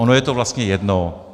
Ono je to vlastně jedno.